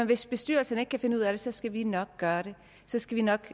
hvis bestyrelserne ikke kan finde ud af det så skal vi nok gøre det så skal vi nok